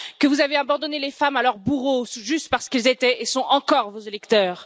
Que vous avez abandonné les femmes à leurs bourreaux, juste parce qu'ils étaient et sont encore vos électeurs?